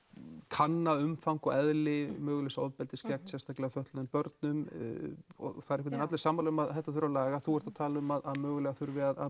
kanna umfang og eðli mögulegs ofbeldis gegn sérstaklega fötluðum börnum og það eru allir sammála um að þetta þurfi að laga þú ert að tala um að mögulega þurfi að